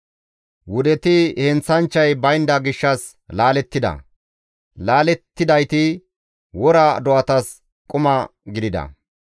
Wudeti heenththanchchay baynda gishshas laalettida; laalettidayti wora do7atas quma gidida.